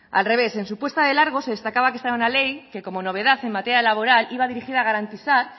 al revés en su puesta de largos se destacaba que esta era una ley que como novedad en materia laboral iba dirigida a garantizar